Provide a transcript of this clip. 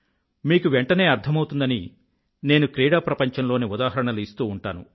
మీకు వెంఠనే అర్థమౌతుందని నేను క్రీడా ప్రపంచంలోని ఉదాహరణలు ఇస్తూ ఉంటాను